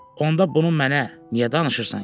Onda bunu mənə niyə danışırsan ki?